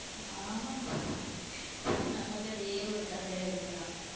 ஆம்மா, நம்ம கதையே ஒரு கதையா எடுக்கலாம்.